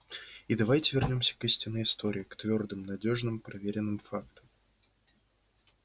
и давайте вернёмся к истинной истории к твёрдым надёжным проверенным фактам